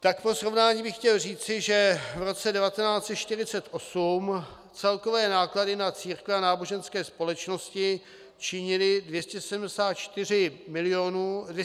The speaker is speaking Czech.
Tak pro srovnání bych chtěl říci, že v roce 1948 celkové náklady na církve a náboženské společnosti činily 274 miliard 612 milionů korun.